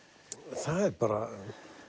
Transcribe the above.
það er bara